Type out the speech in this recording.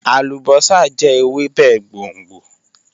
Alubosa jẹ Ewebe gbongbo